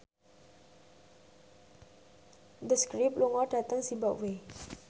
The Script lunga dhateng zimbabwe